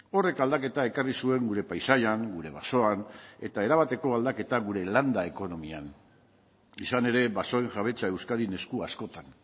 horrek aldaketa ekarri zuen gure paisaian gure basoan eta erabateko aldaketa gure landa ekonomian izan ere basoen jabetza euskadin esku askotan